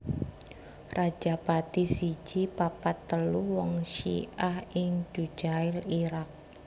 Rajapati siji papat telu wong Syi ah ing Dujail Irak